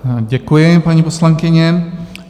Děkuji, paní poslankyně.